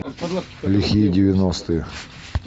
лихие девяностые